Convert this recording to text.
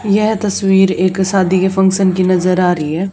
यह तस्वीर एक शादी के फंक्शन की नजर आ रही हैं।